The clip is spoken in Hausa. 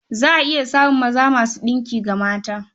Za a iya samun maza masu ɗinki ga mata.